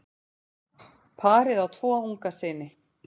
Parið á tvo unga syni.